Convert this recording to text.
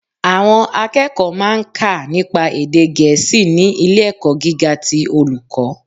Àwọn akẹ́kọ̀ọ́ má a ń kà nípa èdè gèésì ní ilé ẹ̀kọ́ gíga ti Olùkọ́